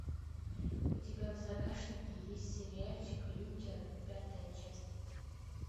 у тебя в загашнике есть сериальчик лютер пятая часть